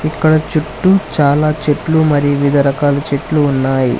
అక్కడ చుట్టూ చాలా చెట్లు మరి వివిధ రకాల చెట్లు ఉన్నాయి.